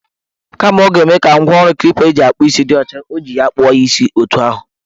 Kama ọ g-eme ka ngwaọrụ klipa eji akpụ isi dị ọcha, o ji ya kpụọ ya isi etu ahụ.